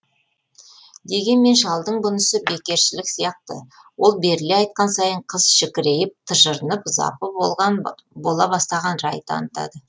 дегенмен шалдың бұнысы бекершілік сияқты ол беріле айтқан сайын қыз шікірейіп тыжырынып запы бола бастаған рай танытады